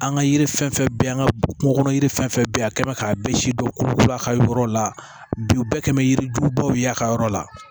An ka yiri fɛn fɛn bɛ yen an ka kungo kɔnɔ yiri fɛn fɛn bɛ yen a kɛ bɛ k'a bɛɛ sidɔn kolokolo a ka yɔrɔ la bi bɛɛ kan bɛ yirijugubaw ye a ka yɔrɔ la